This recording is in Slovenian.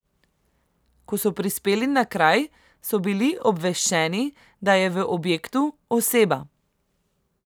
Ko so prispeli na kraj, so bili obveščeni, da je v objektu oseba.